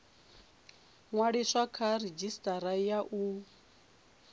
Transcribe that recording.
ṅwaliswa kha redzhisitara ya u